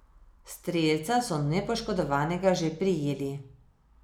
Strelca so nepoškodovanega že prijeli.